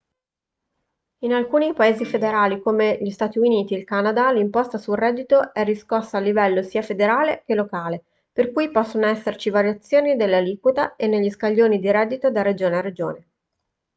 in alcuni paesi federali come gli stati uniti e il canada l'imposta sul reddito è riscossa a livello sia federale che locale per cui possono esserci variazioni nelle aliquote e negli scaglioni di reddito da regione a regione